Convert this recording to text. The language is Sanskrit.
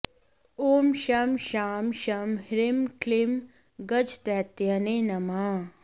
ॐ शं शां षं ह्रीं क्लीं गजदैत्यहने नमः